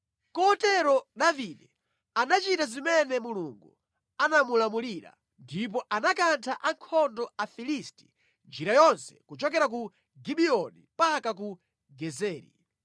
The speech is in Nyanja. Kotero Davide anachita zimene Mulungu anamulamulira ndipo anakantha ankhondo a Afilisti njira yonse kuchokera ku Gibiyoni mpaka ku Gezeri.